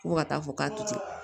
Fo ka taa fɔ k'a ti